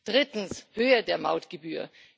Drittens Höhe der Mautgebühr.